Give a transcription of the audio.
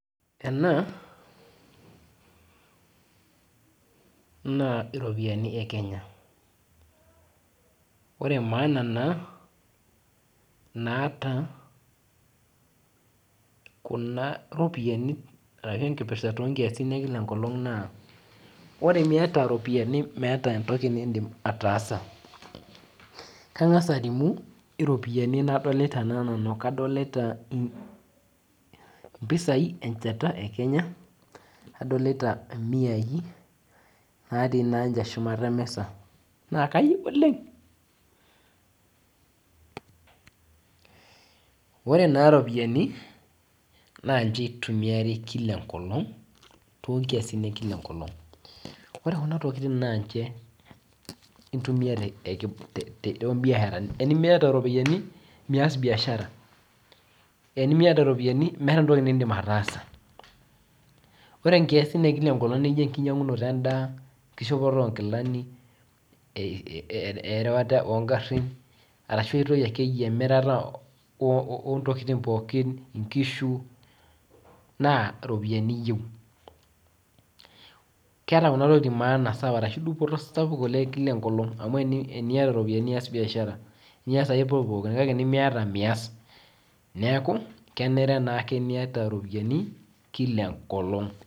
Ena naa iropiyiani ekenya ore maaana naata kuna ropiyani ashu enkirpirta ekila enkolong na ore miata ropiyani meeta entoki nindim ataasa kadolta mpisai emchata ekenya adolita miai natii shumata emisa na kayieu oleng orw na ropiyani na nimchebitumiaai kila enkolong ore kuna tokitin na ninche intumia tombiasharani enamita ropiyani meeta entoki nindim ataasa ore enkisin ekila siku nijobenkishopoto onkilani erewata ongarin emirata ontokitin pookin inkishu na ropiyani iyieu keeta maana amu teniata ropiyani nias biashara neaku kenare ake niata ropiyani kila enkolong.